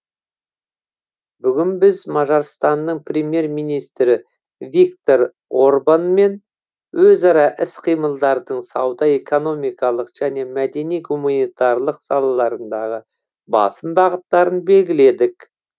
бүгін біз мажарстанның премьер министрі виктор орбанмен өзара іс қимылдардың сауда экономикалық және мәдени гуманитарлық салаларындағы басым бағыттарын белгіледік